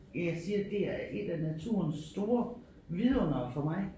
Jeg siger det er et af naturen store vidundere for mig